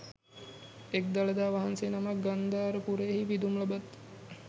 එක් දළදා වහන්සේ නමක් ගන්ධාර පුරයෙහි පිදුම් ලබත්